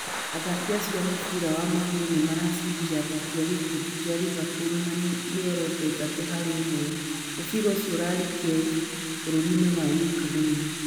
Athaki acio a mũbira wa magũrũ nĩ maracindire athaki a gĩkundi kĩa Liverpool na mĩoroto 3 harĩ 1. Mũbira ũcio warĩ Kiev, bũrũri-inĩ wa Ukraine.